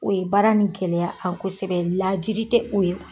O ye baara nin gɛlɛya a kosɛbɛ laadiri tɛ o ye.